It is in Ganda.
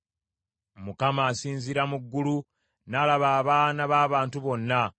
Mukama asinziira mu ggulu n’alaba abaana b’abantu bonna;